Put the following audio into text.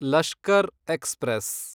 Lashkar express